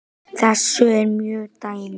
Þess eru mörg dæmi.